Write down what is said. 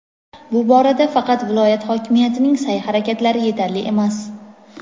bu borada faqat viloyat hokimiyatining sa’y-harakatlari yetarli emas.